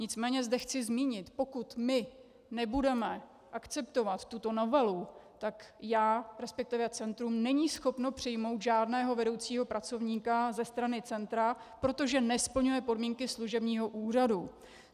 Nicméně zde chci zmínit, pokud my nebudeme akceptovat tuto novelu, tak já, respektive centrum není schopno přijmout žádného vedoucího pracovníka ze strany centra, protože nesplňuje podmínky služebního úřadu.